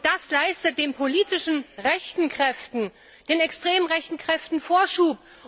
Und das leistet den politisch rechten Kräften, den extrem rechten Kräften Vorschub.